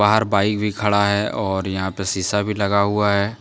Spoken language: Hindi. बाहर बाइक भी खड़ा है और यहां पे शीशा भी लगा हुआ है।